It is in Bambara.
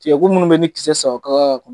Tigɛ ko minnu be ye ni kisɛ saba kaa kɔ